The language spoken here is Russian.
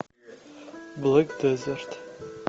блек дезерт